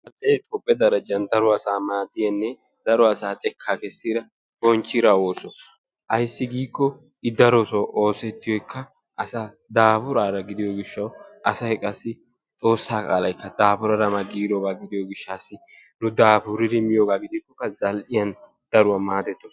Zal'ee tophphe darajjan daro asaa maaddidanne daro asaa xekkaa kessida bonchchida ooso. Ayissi giikko I darotoo oosettiyoyikka asaa daafuraara gidiyo gishshawu asay qassi xoossaa qaalayikka daafuraara ma giirooba gidiyo gishshaassi nu daafuriri miyogaa gidikkokka zal'iyan daruwa maadettos.